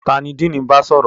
Ta ni Diini n ba sọrọ?